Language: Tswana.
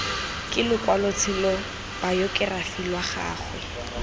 ke lokwalotshelo bayokerafi lwa gagwe